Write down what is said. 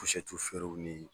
feerew ni